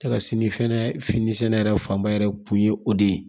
Ne ka sini fɛnɛ fini sɛnɛ yɛrɛ fanba yɛrɛ kun ye o de ye